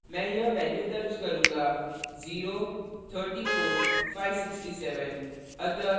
मैं यह values दर्ज करूँगा